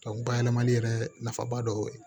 bayɛlɛmali yɛrɛ nafaba dɔ ye